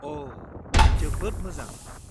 अ, जोबोद मोजां।